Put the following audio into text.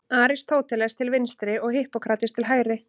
Aristóteles til vinstri og Hippókrates til hægri.